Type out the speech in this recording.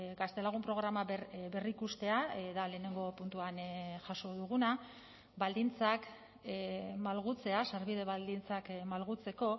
gaztelagun programa berrikustea da lehenengo puntuan jaso duguna baldintzak malgutzea sarbide baldintzak malgutzeko